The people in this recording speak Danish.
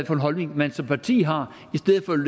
for en holdning man som parti har